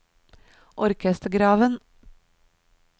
orkestergraven